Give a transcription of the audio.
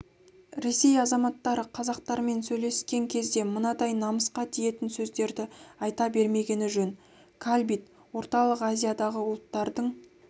ресей азаматтары қазақтармен сөйлескен кезде мынадай намысқа тиетін сөздерді айта бермегені жөн калбит орталық азиядағы ұлттардың